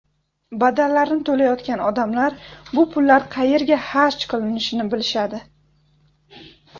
Badallarni to‘layotgan odamlar bu pullar qayerga xarj qilinishini bilishadi.